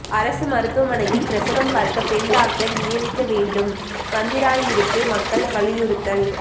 அரசு மருத்துவமனையில் பிரசவம் பார்க்க பெண் டாக்டர் நியமிக்க வேண்டும் வத்திராயிருப்பு மக்கள் வலியுறுத்தல்